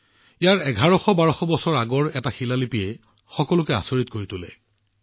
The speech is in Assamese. ইয়াত ১১০০১২০০ বছৰ পূৰ্বৰ এটা শিলালিপিয়ে সমগ্ৰ বিশ্বক আচৰিত কৰি তুলিছে